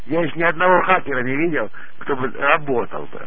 может ни одного харека не видел кто бы работал бля